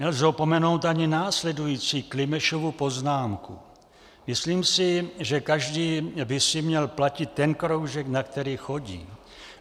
Nelze opomenout ani následující Klimešovu poznámku: Myslím si, že každý by si měl platit ten kroužek, na který chodí.